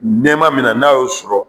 Nɛma min na n'a y'o sɔrɔ